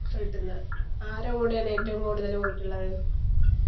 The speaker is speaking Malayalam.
വീട്ടിന്ന് ആരെ കൂടെയാണ് ഏറ്റവും കൂടുതൽ പോയിട്ടുള്ളത്